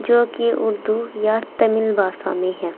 जोकि उर्दू या तमिल भाषा में है।